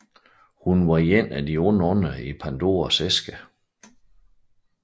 Hun var en af de onde ånder i Pandoras æske